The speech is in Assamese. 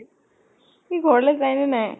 সি ঘৰলৈ যায় নে নাই?